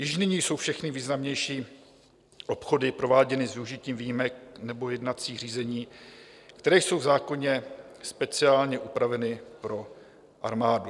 Již nyní jsou všechny významnější obchody prováděny s využitím výjimek nebo jednacích řízení, které jsou v zákoně speciálně upraveny pro armádu.